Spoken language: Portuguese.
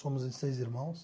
Somos em seis irmãos.